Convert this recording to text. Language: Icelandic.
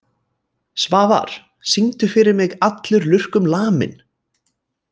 Svafar, syngdu fyrir mig „Allur lurkum laminn“.